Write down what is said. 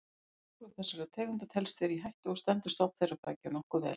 Hvorug þessara tegunda telst vera í hættu og stendur stofn þeirra beggja nokkuð vel.